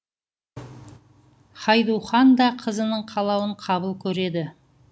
хайду хан да қызының қалауын қабыл көреді